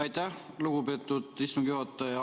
Aitäh, lugupeetud istungi juhataja!